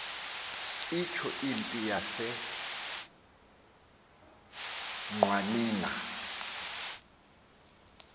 itsho impi yaseqwaninga